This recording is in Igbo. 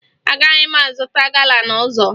Agaghị m azụta gala n'ụzọ